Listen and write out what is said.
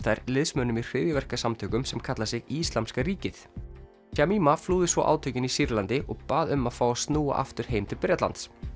þær liðsmönnum í hryðjuverkasamtökum sem kalla sig Íslamska ríkið flúði svo átökin í Sýrlandi og bað um að fá að snúa aftur heim til Bretlands